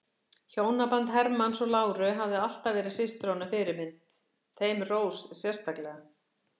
Hjónaband Hermanns og láru hafði alltaf verið systrunum fyrirmynd, þeim Rós sérstaklega.